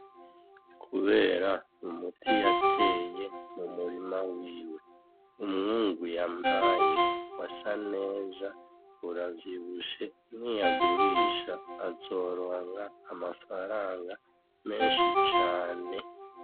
Kubera umuti yateye mu murima wiwe, umwungu yampaye wasa neza uravyibushe niyagurisha azoronka amafaranga menshi cane.